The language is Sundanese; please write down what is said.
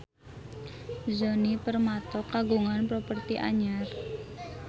Djoni Permato kagungan properti anyar